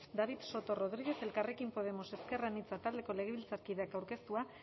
david soto rodríguez elkarrekin podemos ezker anitza taldeko legebiltzarkideak aurkeztua